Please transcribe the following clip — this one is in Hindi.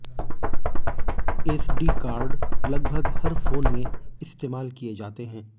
एसडी कार्ड लगभग हर फोन में इस्तेमाल किए जाते हैं